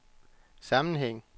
sammenhæng